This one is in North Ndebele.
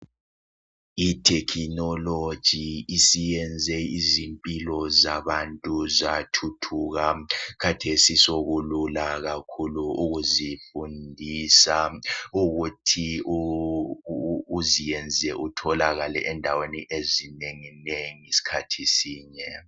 Ithekhinoloji isiyenze izimpilo zabantu zathuthuka, khathesi sokulula kakhulu ukuzifundisa, ukuthi uziyenze utholakale endaweni ezinenginengi sikhathi sinye